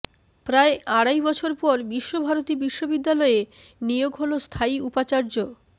প্রায় আড়াই বছর পর বিশ্বভারতী বিশ্ববিদ্যালয়ে নিয়োগ হল স্থায়ী উপাচার্য